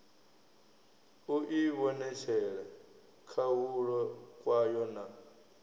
u ivhonetshela khahulo kwayo na